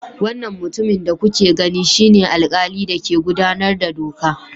Wannan mutumin da kuke gani shine alkali da ke gudanar da doka.